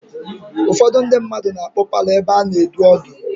Ụfọdụ ndị mmadụ na-akpọ paalọ ebe a na-edu ọdụ.